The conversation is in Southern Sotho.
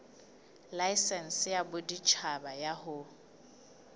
laesense ya boditjhaba ya ho